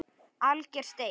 Alger steik